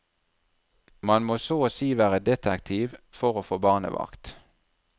Man må så å si være detektiv for å få barnevakt.